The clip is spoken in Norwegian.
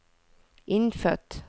innfødt